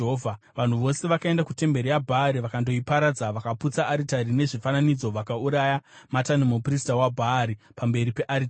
Vanhu vose vakaenda kutemberi yaBhaari vakandoiparadza, vakaputsa aritari nezvifananidzo vakauraya Matani muprista waBhaari pamberi pearitari.